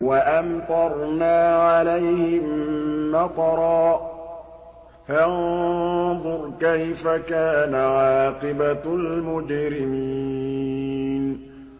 وَأَمْطَرْنَا عَلَيْهِم مَّطَرًا ۖ فَانظُرْ كَيْفَ كَانَ عَاقِبَةُ الْمُجْرِمِينَ